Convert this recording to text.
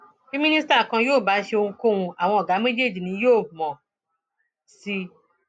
bí mínísítà kan yóò bá ṣe ohunkóhun àwọn ọgá méjèèjì yìí ni yóò mọ sí i